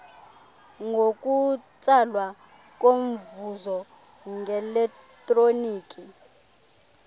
ngokutsalwa komvuzo ngeletroniki